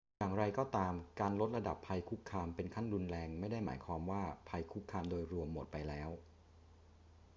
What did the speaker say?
อย่างไรก็ตาม การลดระดับภัยคุกคามเป็นขั้นรุนแรงไม่ได้หมายความว่าภัยคุกคามโดยรวมหมดไปแล้ว